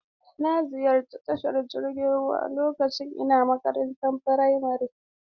Na ziyarci tashar jirgin ruwa lokacin ina makarantar firamare..